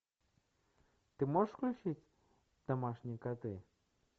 ты можешь включить домашние коты